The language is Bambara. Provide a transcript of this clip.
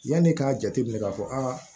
Yanni k'a jateminɛ k'a fɔ aa